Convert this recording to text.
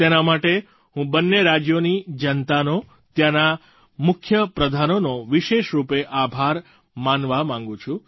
તેના માટે હું બંને રાજ્યોની જનતાનો ત્યાંના મુખ્ય પ્રધાનોનો વિશેષ રૂપે આભાર માનવા માગું છું